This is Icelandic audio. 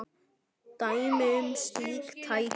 Dæmi um slík tæki